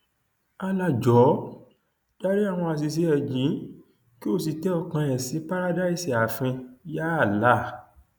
allah jọọ dárí àwọn àṣìṣe ẹ jì í kí ó sì tẹ ọkàn ẹ sí párádísè ààfin yàà allah